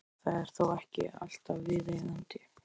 Það er þó ekki alltaf viðeigandi.